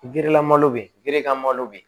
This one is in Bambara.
Gerelamalo bɛ yen ka malo bɛ yen